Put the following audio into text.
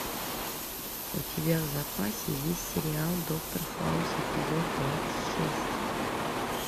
у тебя в запасе есть сериал доктор хаус эпизод двадцать шесть